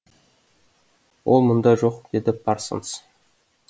ол мұнда жоқ деді парсонс